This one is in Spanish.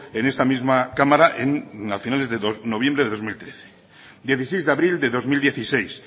en esta misma cámara a finales de noviembre de dos mil trece dieciseis de abril de dos mil dieciséis